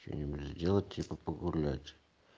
что-нибудь сделать типа погулять